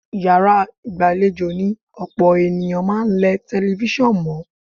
Yàrá ìgbàlejò ni ọ̀pọ̀ ènìyàn máa ń lẹ tẹlifíṣàn mọ́.